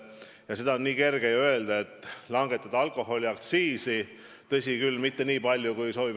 Ja seda on nii kerge öelda, et tuleb langetada alkoholiaktsiisi.